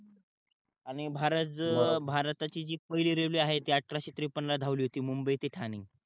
आणि भारत भारताची पहिली रेलवे आहे ते अठराशे त्रेपन्न ला धावली होती मुंबई ते ठाणे